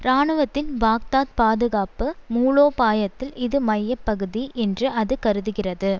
இராணுவத்தின் பாக்தாத் பாதுகாப்பு மூலோபாயத்தில் இது மைய பகுதி என்று அது கருதுகிறது